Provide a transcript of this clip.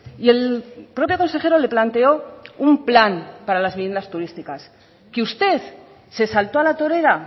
y el propio consejero le planteó un plan para las viviendas turísticas que usted se saltó a la torera